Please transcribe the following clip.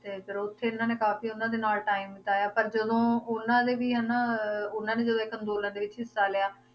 ਤੇ ਫਿਰ ਓਥੇ ਇਹਨਾਂ ਨੇ ਕਾਫੀ ਓਹਨਾ ਦੇ ਨਾਲ time ਬਿਤਾਇਆ ਪਰ ਜਦੋਂ ਓਹਨਾ ਦੇ ਵੀ ਹਨਾ ਉਹਨਾਂ ਨੇ ਜਦੋਂ ਇੱਕ ਅੰਦੋਲਨ ਦੇ ਵਿੱਚ ਹਿੱਸਾ ਲਿਆ